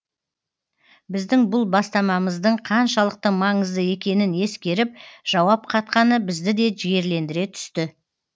біздің бұл бастамамыздың қаншалықты маңызды екенін ескеріп жауап қатқаны бізді де жігерлендіре түсті